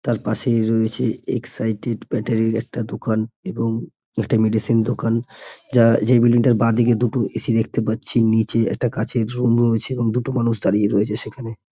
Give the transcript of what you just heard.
তার পাশে রয়েছে এক্সাইড -এর ব্যাটারি -র একটা দোকান এবং একটা মেডিসিন দোকান যা যে বিল্ডিং -টার বাঁদিকে দুটো এ.সি. দেখতে পাচ্ছি নিচে একটা গাছের কাঁচের রুম রয়েছে এবং দুটো মানুষ দাঁড়িয়ে রয়েছে সেখানে ।